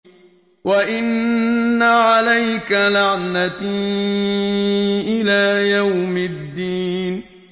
وَإِنَّ عَلَيْكَ لَعْنَتِي إِلَىٰ يَوْمِ الدِّينِ